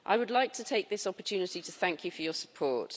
I would like to take this opportunity to thank you for your support.